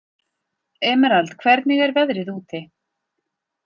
Emerald, hvernig er veðrið úti?